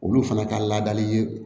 Olu fana ka ladali ye